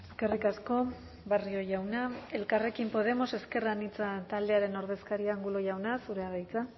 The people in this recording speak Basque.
eskerrik asko barrio jauna elkarrekin podemos ezker anitza taldearen ordezkaria angulo jauna zurea da hitza